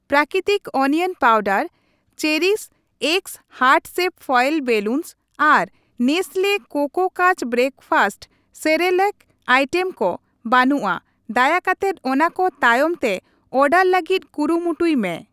ᱯᱨᱟᱠᱤᱛᱤᱠ onion powder ᱪᱮᱨᱤᱠᱥ ᱮᱠᱥ heart shape foil balloons ᱟᱨ Nestle Koko Krunch breakfast cereal item ᱠᱚ ᱵᱟᱹᱱᱩᱜᱼᱟ ᱫᱟᱭᱟ ᱠᱟᱛᱮᱫ ᱚᱱᱟ ᱠᱚ ᱛᱟᱭᱚᱢ ᱛᱮ ᱚᱰᱟᱨ ᱞᱟᱹᱜᱤᱫ ᱠᱩᱨᱩᱢᱩᱴᱩᱭ ᱢᱮ ᱾